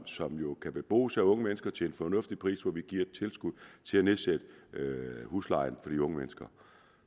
som jo kan bebos af unge mennesker til en fornuftig pris altså hvor vi giver et tilskud til at nedsætte huslejen for de unge mennesker